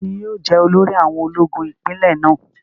Tani yóò jẹ́ olórí àwọn ológun ipinlẹ̀ náà?